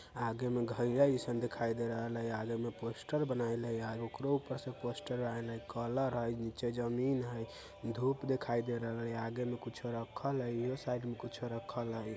आगे मे दिखाई दे रहेल हई आगे मे पोस्टर बनाएल हई आ ओकरो ऊपर से पोस्टर आयन हई कलर हई नीचे जमीन हई धूप दिखाई दे रल हई आगे मे कुछ रखल हई इहो साइड मे कुछ रखल हई।